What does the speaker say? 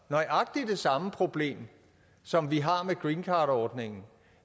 nøjagtig det samme problem som vi har med greencardordningen